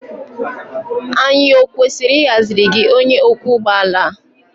Anyị ọ kwesịrị ịhaziri gị onye ọkwọ ụgbọ ala?